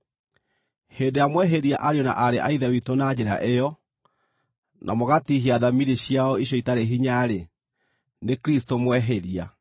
Hĩndĩ ĩrĩa mwehĩria ariũ na aarĩ a Ithe witũ na njĩra ĩyo, na mũgatiihia thamiri ciao icio itarĩ hinya-rĩ, nĩ Kristũ mwehĩria.